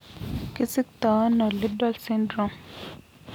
Kisiktoono Liddle syndrome?